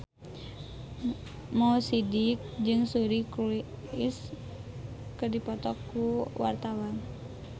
Mo Sidik jeung Suri Cruise keur dipoto ku wartawan